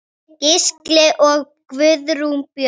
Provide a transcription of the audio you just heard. Gísli og Guðrún Björg.